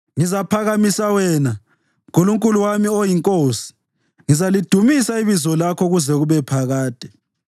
Ngizaphakamisa wena, Nkulunkulu wami oyiNkosi; ngizalidumisa ibizo lakho kuze kube phakade.